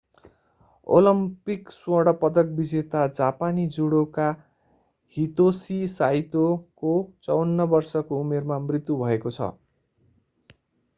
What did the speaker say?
Olympic स्वर्ण पदक विजेता जापानी जुडोका हितोसी साइतोको 54 वर्षको उमेरमा मृत्यु भएको छ